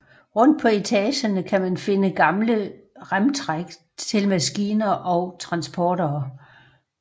Rundt på etagerne kan man finde gamle remtræk til maskiner og transportere